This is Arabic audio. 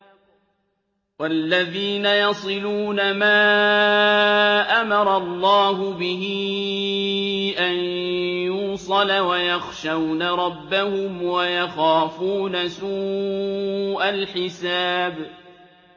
وَالَّذِينَ يَصِلُونَ مَا أَمَرَ اللَّهُ بِهِ أَن يُوصَلَ وَيَخْشَوْنَ رَبَّهُمْ وَيَخَافُونَ سُوءَ الْحِسَابِ